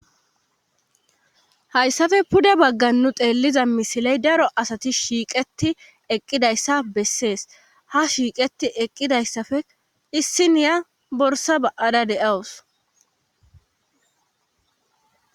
Hayssappe pude baggan nu xeelliza misiley daro asati shiiqeti eqqidayssa bessees ha shiiqeti eqqidayssappe issiniya borsa ba7ada de7awus.